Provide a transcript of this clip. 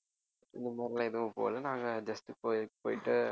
இந்த மாதிரிலாம் எதுவும் போகல நாங்க just கோயிலுக்கு போயிட்டு